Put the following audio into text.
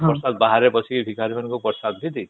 ପ୍ରସାଦ ବାହାରେ ବସିକି ଭିକାରି ମାନଙ୍କୁ ପ୍ରସାଦ ବି ଦେଇଥିଲୁ